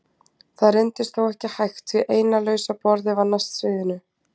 Það reyndist þó ekki hægt því eina lausa borðið var næst sviðinu.